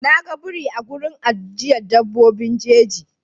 Na ga biri a wurin ajiyar dabbobin jeji.